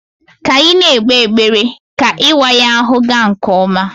Ka anyị na-ekpe ekpere ka ịwa ya ahụ gaa nke ọma